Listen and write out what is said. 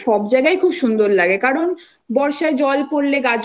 বর্ষা infact সব জায়গায়ই খুব সুন্দর লাগে কারণ